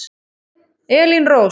Elín Rós.